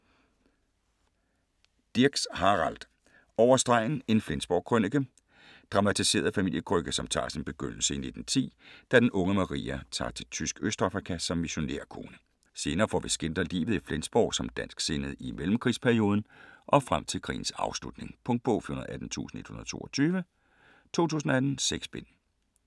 Dirks, Harald: Over stregen - en Flensborg-krønike Dramatiseret familiekrønike som tager sin begyndelse i 1910, da den unge Maria tager til tysk Østafrika som missionærkone. Senere får vi skildret livet i Flensborg som dansksindet i mellemkrigsperioden og frem til krigens afslutning. Punktbog 418122 2018. 6 bind.